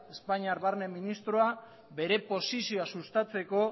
espainiar barne ministroa bere posizioa sustatzeko